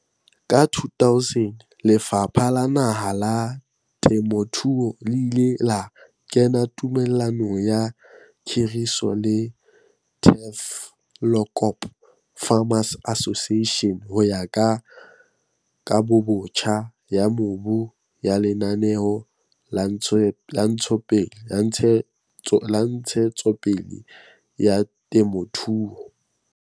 Ka 2000, Lefapha la Naha la Temothuo le ile la kena tumellanong ya khiriso le Tafelkop Farmers Association ho ya ka Kabobotjha ya Mobu ya Lenaneo la Ntshetsopele ya Temothuo.